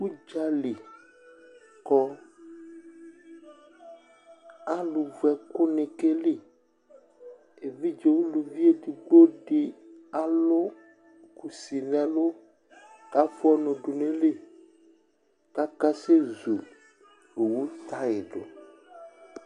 Udzali kɔ Aluvʋɛkɛŋi keli Evidze ulʋvi ɛɖigbo ɖi alu kusi ŋu ɛlu kʋ afʋa ɔnu ɖu ŋu iɣili kʋ akasɛzu owu tyre ɖʋ